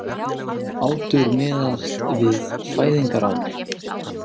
Aldur miðast við fæðingarár